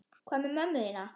Hvað með mömmu þína?